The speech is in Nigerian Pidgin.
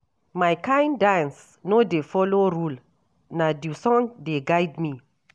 My kain dance no dey folo rule, na di song dey guide me.